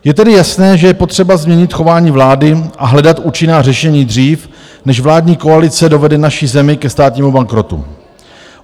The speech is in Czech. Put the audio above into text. Je tedy jasné, že je potřeba změnit chování vlády a hledat účinná řešení dřív, než vládní koalice dovede naši zemi ke státnímu bankrotu.